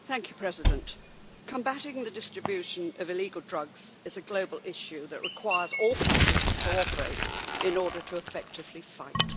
Mr President, combating the distribution of illegal drugs is a global issue that requires all countries to cooperate in order to effectively fight.